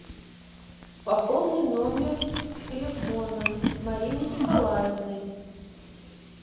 пополни номер телефона марины николаевны